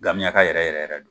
gamiyaka yɛrɛ yɛrɛ don.